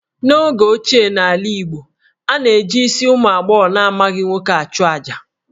N'oge ochie n'ala Igbo, a na-eji isi ụmụ agbọghọ na-amaghị nwoke achụ àjà